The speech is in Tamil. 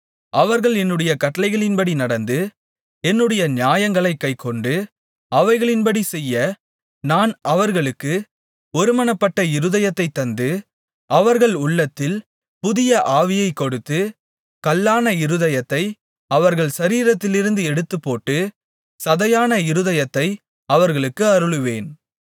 அவர்கள் என்னுடைய கட்டளைகளின்படி நடந்து என்னுடைய நியாயங்களைக் கைக்கொண்டு அவைகளின்படி செய்ய நான் அவர்களுக்கு ஒருமனப்பட்ட இருதயத்தைத் தந்து அவர்கள் உள்ளத்தில் புதிய ஆவியைக்கொடுத்து கல்லான இருதயத்தை அவர்கள் சரீரத்திலிருந்து எடுத்துப்போட்டு சதையான இருதயத்தை அவர்களுக்கு அருளுவேன்